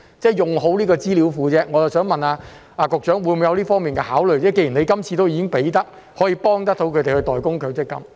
即是好好運用這個資料庫，我想問局長會否有這方面的考慮，既然今次已經可以幫助他們代供強積金？